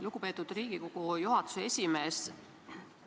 Lugupeetud Riigikogu juhatuse esimees!